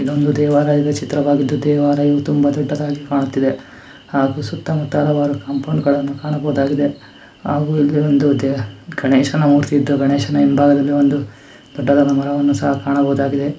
ನಮ್ದು ದೇವಾಲಯದ ಚಿತ್ರವಾಗಿದು ದೇವಾಲಯವು ಕೂಡ ತುಂಬ ದೊಡ್ಡದಾಗಿ ಕಾಣುತ್ತಿದೆ ಹಾಗೆ ಸುತ್ತ ಮುತ್ತಲವಾಗಿ ಕಂಪೌಂಡ್ ಗಳನ್ನೂ ಕಾಣಬಹುದಾಗಿದೆ ಹಾಗು ಇಲ್ಲಿ ಒಂದು ಗಣೇಶನ ಮೂರ್ತಿ ಇದ್ದು ಗಣೇಶನ ಹಿಂಬಾಗದಲ್ಲಿ ದೊಡ್ಡದಾದ ಮರವನ್ನು ಸಹ ಕಾಣಬಹುದಾಗಿದೆ --